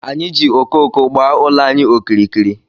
Anyị ji okooko gbaa ụlọ anyị okirikiri.